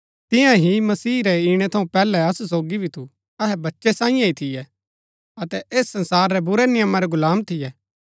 तियां ही मसीह रै इणै थऊँ पैहलै असु सोगी भी थू अहै बच्चै सांईये ही थियै अतै ऐस संसार रै बुरै नियमा रै गुलाम थियै